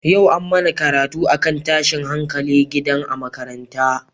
Yau an mana karatu akan tashin hankalin gida a makaranta.